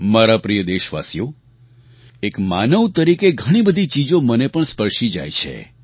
મારા પ્રિય દેશવાસીઓ એક માનવ તરીકે ઘણી બધી ચીજો મને પણ સ્પર્શી જાય છે